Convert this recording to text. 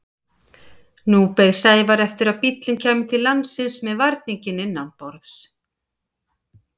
Nú beið Sævar eftir að bíllinn kæmi til landsins með varninginn innanborðs.